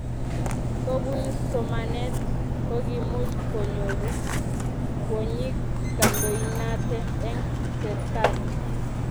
kopunu somanet kokiimuch konyoru kwonyik kantoinatee en serkalii